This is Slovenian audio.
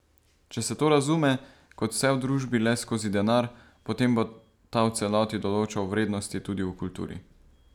Če se to razume, kot vse v družbi, le skozi denar, potem bo ta v celoti določal vrednosti tudi v kulturi.